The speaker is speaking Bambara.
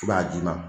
I b'a ji ma